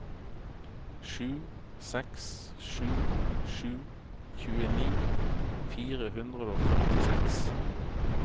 sju seks sju sju tjueni fire hundre og førtiseks